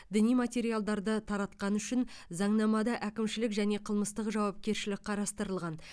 діни материалдарды таратқаны үшін заңнамада әкімшілік және қылмыстық жауапкершілік қарастырылған